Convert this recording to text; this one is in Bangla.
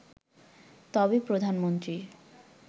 তবে প্রধানমন্ত্রীর